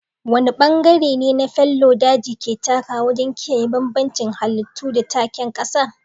Wane bangare ne fallow daji ke takawa wajen kiyaye bambancin halittu da takin ƙasa?